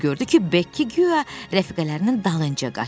O gördü ki, Bekki guya rəfiqələrinin dalınca qaçır.